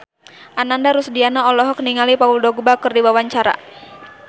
Ananda Rusdiana olohok ningali Paul Dogba keur diwawancara